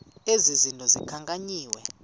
ezi zinto zikhankanyiweyo